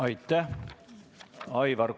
Aitäh!